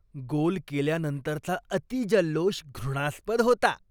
गोल केल्यानंतरचा अतिजल्लोष घृणास्पद होता.